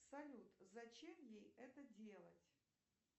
салют зачем ей это делать